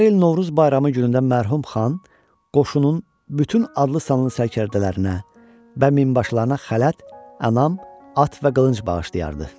Hər il Novruz bayramı günündə mərhum xan qoşunun bütün adlı-sanlı sərkərdələrinə və minbaşılarına xələt, ənam, at və qılınc bağışlayardı.